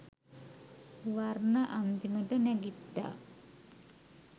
වර්ණ අන්තිමට නැගිට්ටා.